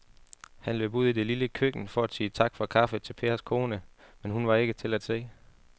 Han løb ud i det lille køkken for at sige tak for kaffe til Pers kone, men hun var ikke til at se.